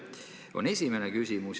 See on esimene küsimus.